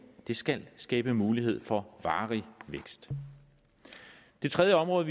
det skal skabe mulighed for varig vækst det tredje område